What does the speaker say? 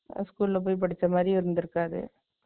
School ல போய் படிச்ச மாதிரியும் இருந்திருக்காது